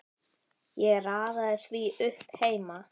Ég raðaði því upp heima.